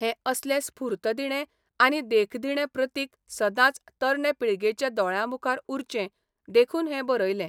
हे असलें स्फूर्तदिणें आनी देखदिणें प्रतीक सदांच तरणे पिळगेच्या दोळ्यांमुखार उरचें देखून हें बरयलें.